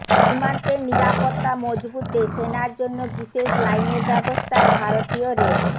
সীমান্তের নিরাপত্তা মজবুতে সেনার জন্য বিশেষ লাইনের ব্যবস্থায় ভারতীয় রেল